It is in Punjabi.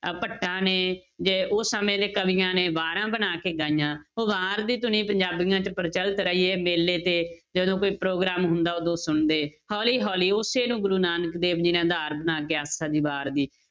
ਅਹ ਭੱਟਾਂਂ ਨੇ ਜੇ ਉਹ ਸਮੇਂ ਦੇ ਕਵੀਆਂ ਨੇ ਵਾਰਾਂ ਬਣਾ ਕੇ ਗਾਈਆਂ ਉਹ ਵਾਰ ਦੀ ਧੁਨੀ ਪੰਜਾਬੀਆਂ 'ਚ ਪ੍ਰਚਲਿਤ ਰਹੀ ਹੈ ਮੇਲੇ ਤੇ ਜਦੋਂ ਕੋਈ ਪ੍ਰੋਗਰਾਮ ਹੁੰਦਾ ਉਦੋਂ ਸੁਣਦੇ, ਹੌਲੀ ਹੌਲੀ ਉਸੇ ਨੂੰ ਗੁਰੂ ਨਾਨਕ ਦੇਵ ਜੀ ਨੇ ਆਧਾਰ ਬਣਾ ਕੇ ਆਸਾ ਦੀ ਵਾਰ ਦੀ